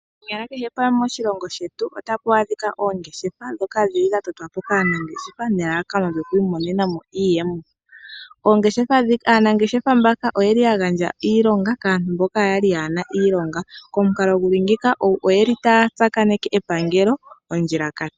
Konyala kehe pamwe moshilongo shetu otamu adhika oongeshefa, ndhono dhatotwa po kaanangeshefa, nelalakano lyokwiimonena mo iiyemo. Aanangeshefa mbaka oyeli ya gandja iilonga kaantu mboka kaayena iilonga. Komukalo nguka oyeli taya tsakaneke epangelo, ondjilakati.